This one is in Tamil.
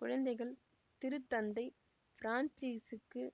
குழந்தைகள் திருத்தந்தை பிரான்சிசுக்கு